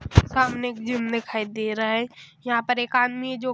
सामने एक जिम दिखाई दे रहा है यहां पर एक आदमी है जो--